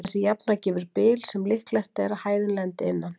Þessi jafna gefur bil sem líklegt er að hæðin lendi innan.